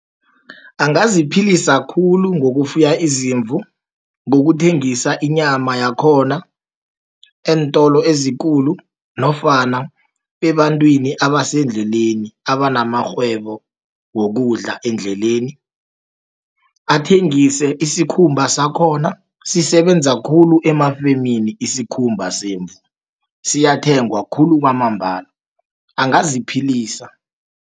Angaziphilisa khulu, ngokufuya izimvu, ngokuthengisa inyama yakhona eentolo ezikulu, nofana ebantwini abasendleleni, abanamakghwebo wokudla endleleni. Athengise isikhumba sakhona, sisebenza khulu emafemini, isikhumba semvu, siyathengwa khulu kwamambala angaziphilisa.